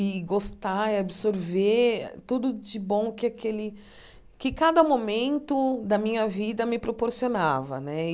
e gostar e absorver tudo de bom que aquele que cada momento da minha vida me proporcionava né e.